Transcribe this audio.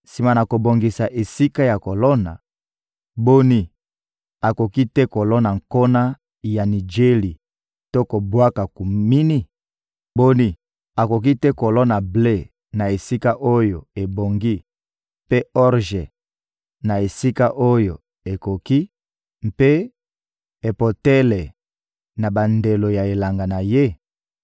Sima na kobongisa esika ya kolona, boni, akoki te kolona nkona ya nijeli to kobwaka kumini? Boni, akoki te kolona ble na esika oyo ebongi, mpe orje, na esika oyo ekoki; mpe epotele, na bandelo ya elanga na ye?